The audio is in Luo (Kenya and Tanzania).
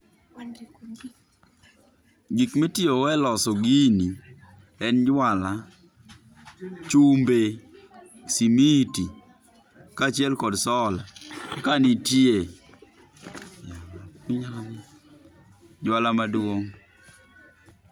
Gik mitiyo go e loso gini en jwala, chumbe, simiti kachiel kod solar ka nitie. Jwala maduong